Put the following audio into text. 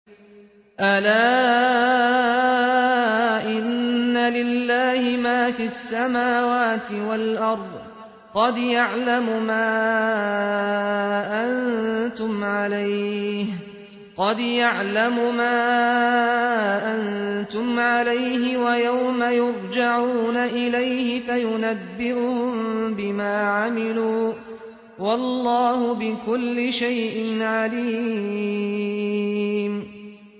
أَلَا إِنَّ لِلَّهِ مَا فِي السَّمَاوَاتِ وَالْأَرْضِ ۖ قَدْ يَعْلَمُ مَا أَنتُمْ عَلَيْهِ وَيَوْمَ يُرْجَعُونَ إِلَيْهِ فَيُنَبِّئُهُم بِمَا عَمِلُوا ۗ وَاللَّهُ بِكُلِّ شَيْءٍ عَلِيمٌ